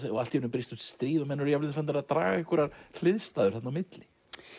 allt í einu brýst út stríð og menn eru jafnvel farnir að draga einhverjar hliðstæður þarna á milli